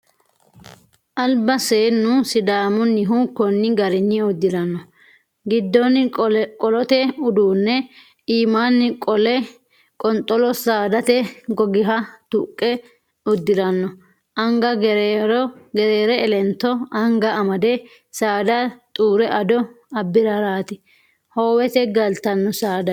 Albi seennu sidaamunnihu koni garinni uddirano giddoni qolote uduune iimani qolle qonxolo saadate gogiha tuqe uddirano anga gerere elento anga amade saada xuure ado abbirarati howete galtano saadawinni.